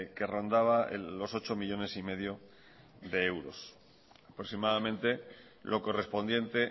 que rondaba los ocho millónes y medio de euros aproximadamente lo correspondiente